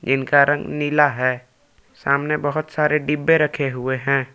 इनका रंग नीला है सामने बहुत सारे डिब्बे रखे हुए हैं।